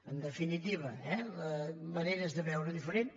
en definitiva eh maneres de veure ho diferent